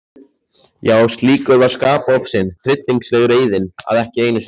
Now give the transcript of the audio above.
Já, slíkur var skapofsinn, tryllingsleg reiðin, að ekki einu sinni